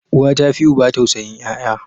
Uwa ta fi uba tausayin yaya.